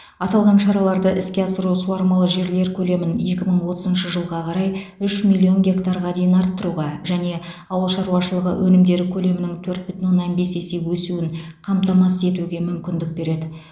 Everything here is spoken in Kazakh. аталған шараларды іске асыру суармалы жерлер көлемін екі мың отызыншы жылға қарай үш миллион гектарға дейін арттыруға және ауыл шаруашылығы өнімдері көлемінің төрт бүтін оннан бес есе өсуін қамтамасыз етуге мүмкіндік береді